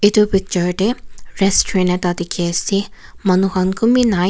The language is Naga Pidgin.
etu picture te restaurant ekta dekhi ase manu khan kunba ni.